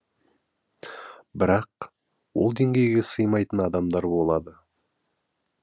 бірақ ол деңгейге сыймайтын адамдар болады